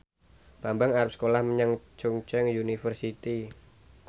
Bambang arep sekolah menyang Chungceong University